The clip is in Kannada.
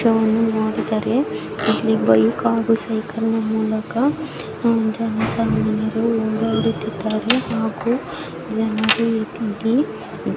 ಚಿತ್ರವನ್ನು ನೋಡಿದರೆ ಇಲ್ಲಿ ಬೈಕ್ ಹಾಗು ಸೈಕಲ್ ನ ಮೂಲಕ ಜನ ಸಾಮಾನ್ಯರು ಓಡಾಡುತ್ತಿದ್ದಾರೆ. ಹಾಗೂ--